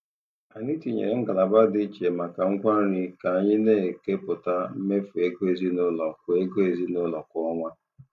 Anyị tinyere ngalaba dị iche maka ngwa nri ka anyị na-ekepụta mmefu ego ezinụlọ kwa ego ezinụlọ kwa ọnwa.